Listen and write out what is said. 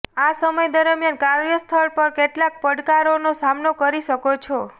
આ સમય દરમિયાન કાર્યસ્થળ પર કેટલાક પડકારોનો સામનો કરી શકો છો